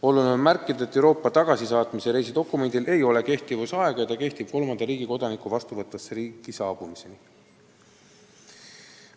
Oluline on märkida, et Euroopa tagasisaatmise reisidokumendil ei ole kehtivusaega: see kehtib kolmanda riigi kodaniku vastuvõtvasse riiki saabumiseni.